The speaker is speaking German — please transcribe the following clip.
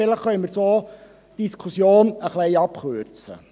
vielleicht können wir so die Diskussion etwas abzukürzen.